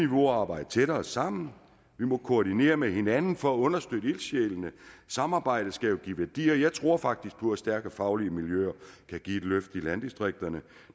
må arbejde tættere sammen vi må koordinere med hinanden for at understøtte ildsjælene samarbejdet skal jo give værdi og jeg tror faktisk på at stærke faglige miljøer kan give et løft i landdistrikterne